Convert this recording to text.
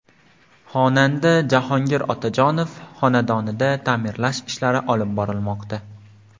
Xonanda Jahongir Otajonov xonadonida ta’mirlash ishlarini olib bormoqda.